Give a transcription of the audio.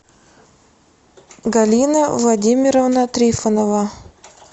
галина владимировна трифонова